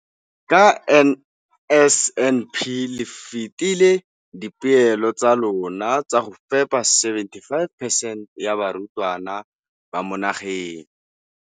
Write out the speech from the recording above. Ka NSNP le fetile dipeelo tsa lona tsa go fepa masome a supa le botlhano a diperesente ya barutwana ba mo nageng.